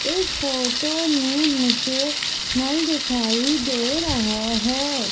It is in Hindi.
इस फोटो में मुझे नल दिखाई दे रहा है।